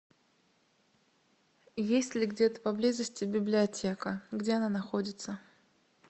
есть ли где то поблизости библиотека где она находится